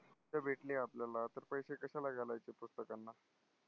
पुस्त भेटली आपल्याला तर पैसे कशाला घालायचे पुस्तकांना?